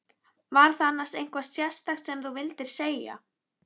Var það annars eitthvað sérstakt sem þú vildir segja?